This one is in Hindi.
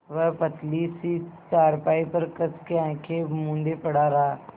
वह पतली सी चारपाई पर कस के आँखें मूँदे पड़ा रहा